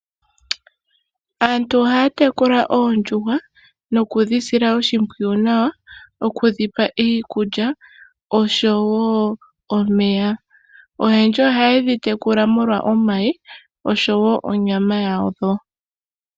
Aantu ohaya tekula oondjuhwa nokudhi sila oshimpwiyu nawa okudhipa iikulya nomeya oyendji ohayedhi tekula molwa omayi nonyama yadho.